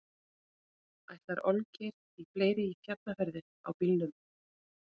Ætlar Olgeir í fleiri fjallferðir á bílnum?